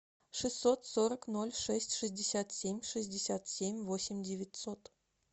шестьсот сорок ноль шесть шестьдесят семь шестьдесят семь восемь девятьсот